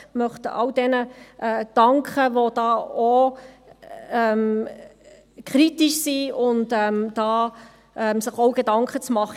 Ich möchte all jenen danken, die hier auch kritisch sind und sich hierzu auch Gedanken machen.